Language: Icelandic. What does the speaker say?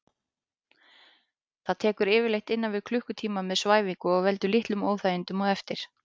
Það tekur yfirleitt innan við klukkutíma með svæfingu og veldur litlum óþægindum á eftir.